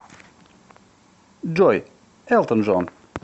джой элтон джон